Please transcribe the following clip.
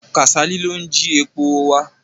Kàsálí ló ń ji epo wà.